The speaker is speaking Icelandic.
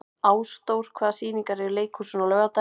Ásdór, hvaða sýningar eru í leikhúsinu á laugardaginn?